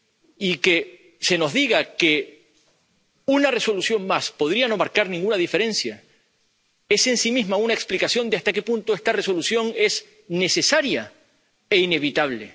Y que se nos diga que una resolución más podría no marcar ninguna diferencia es, en sí misma, una explicación de hasta qué punto esta Resolución es necesaria e inevitable.